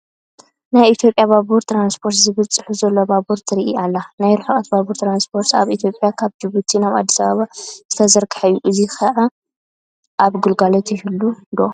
ናይ ኢትዮጵያ ባቡር ትራንስፖርት ዝብል ፅሑፍ ዘለዋ ባቡር ትርአ ኣላ፡፡ ናይ ርሕቐት ባቡር ትራንስፖርት ኣብ ኢትዮጵያ ካብ ጁቡቲ ናብ ኣዲስ ኣባባ ዝተዘርግሐ እዩ፡፡ ሕዚ ኸ ኣብ ግልጋሎት ይህሉ ዶ?